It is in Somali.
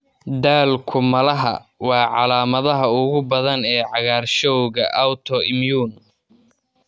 Daalku malaha waa calaamadaha ugu badan ee cagaarshowga autoimmune.